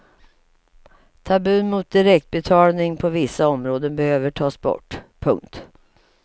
Tabun mot direktbetalning på vissa områden behöver tas bort. punkt